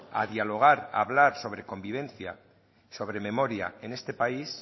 a dialogar a hablar sobre convivencia sobre memoria en este país